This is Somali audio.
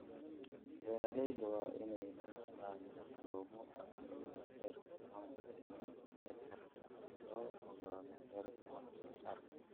Beeralayda waa inay lahaadaan habab lagu cabbiro heerka manka iyo nectar si loo ogaado heerka wax soo saarka.